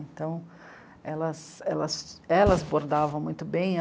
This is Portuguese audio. Então, elas elas elas bordavam muito bem.